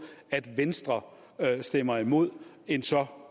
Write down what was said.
at venstre stemmer imod en så